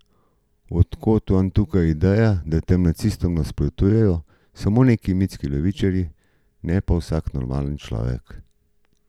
Od kod vam tukaj ideja, da tem nacistom nasprotujejo samo neki mitski levičarji, ne pa vsak normalen človek?